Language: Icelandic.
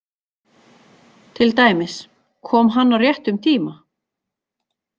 Til dæmis: Kom hann á réttum tíma?